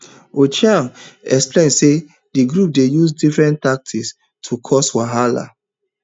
ochieng explain say di group dey use different tactics to cause wahala